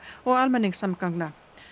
og almenningssamgangna